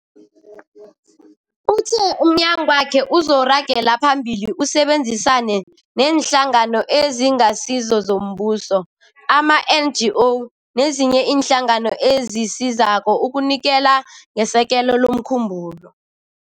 Uthe umnyagwakhe uzoragela phambili usebenzisane neeNhlangano eziNgasizo zoMbuso, ama-NGO, nezinye iinhlangano ezisizako ukunikela ngesekelo lomkhumbulo.